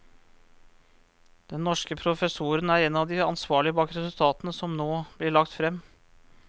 Den norske professoren er en av de ansvarlige bak resultatene som nå blir lagt frem.